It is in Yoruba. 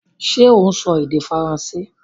Ṣé o sọ èdè Faransé?